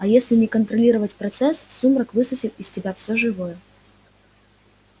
а если не контролировать процесс сумрак высосет из тебя всё живое